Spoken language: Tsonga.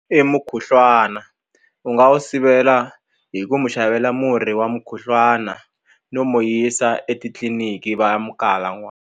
I mukhuhlwana u nga wu sivela hi ku mu xavela murhi wa mukhuhlwana no mo yisa etitliniki va ya mu kala .